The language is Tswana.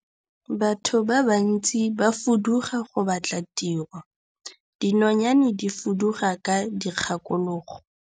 Batho ba bantsi ba fuduga go batla tiro, dinonyane di fuduga ka dikgakologo.